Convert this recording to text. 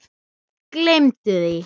Gleymdu því!